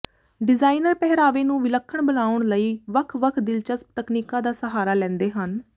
designer ਪਹਿਰਾਵੇ ਨੂੰ ਵਿਲੱਖਣ ਬਣਾਉਣ ਲਈ ਵੱਖ ਵੱਖ ਦਿਲਚਸਪ ਤਕਨੀਕਾਂ ਦਾ ਸਹਾਰਾ ਲੈਂਦੇ ਹਨ